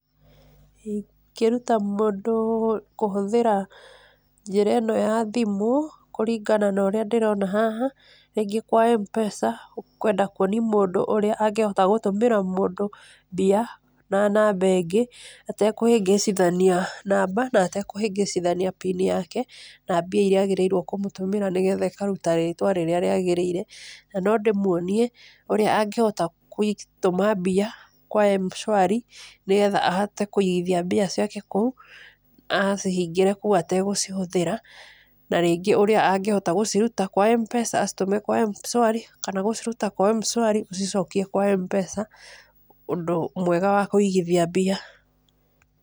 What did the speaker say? Ingĩruta mũndũ kũhũthĩra njĩra ĩno ya thimũ kũringana na ũrĩa ndĩrona haha, rĩngĩ kwa Mpesa, ũkwenda kũonia mũndũ ũrĩa angĩtũmĩra mũndũ mbia na namba ĩngĩ atekũhĩngĩcithania namba na atekũhĩngĩcithania pin yake na mbia irĩa agĩrĩirwo kũmũtũmĩra nĩgetha ĩkaruta rĩtwa rĩrĩa rĩagĩrĩire. Na no ndĩmuonie ũrĩa angĩhota gũtũma mbia kwa mshwari nigetha ahote kũigithia mbia ciake kũu, agacihingĩra kũu atekũhũthĩra, na rĩngĩ ũrĩa angĩhota gũciruta kwa Mpesa acitũme kwa mshwari kana gũciruta kwa mshwari ũcicokie kwa Mpesa ũndũ mwega wa kũigithia mbia.